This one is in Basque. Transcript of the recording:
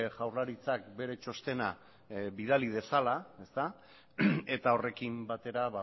jaurlaritzak bere txostena bidali dezala ezta eta horrekin batera